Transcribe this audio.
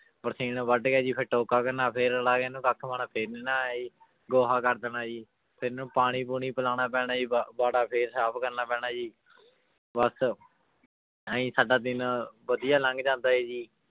ਬਰਸੀਨ ਵੱਢ ਕੇ ਜੀ ਫਿਰ ਟੋਕਾ ਕਰਨਾ ਫਿਰ ਰਲਾ ਕੇ ਇਹਨੂੰ ਕੱਖ ਪਾਉਣਾ ਫਿਰ ਗੋਹਾ ਕਰ ਦੇਣਾ ਜੀ ਫਿਰ ਇਹਨੂੰ ਪਾਣੀ ਪੂਣੀ ਪਿਲਾਉਣਾ ਪੈਣਾ ਜੀ ਵਾ~ ਵਾੜਾ ਫਿਰ ਸਾਫ਼ ਕਰਨਾ ਪੈਣਾ ਜੀ ਬਸ ਇਉਂ ਹੀ ਸਾਡਾ ਦਿਨ ਵਧੀਆ ਲੰਘ ਜਾਂਦਾ ਹੈ ਜੀ